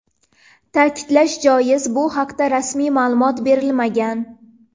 Ta’kidlash joiz, bu haqda rasmiy ma’lumot berilmagan.